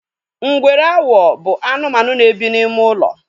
Ngwere awo bụ anụmanụ na-ebe n'ime ulo